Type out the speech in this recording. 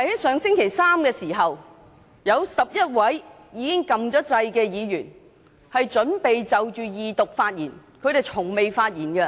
上星期三，有11位議員已經按下"要求發言"按鈕，準備就二讀發言，而他們是從未發言......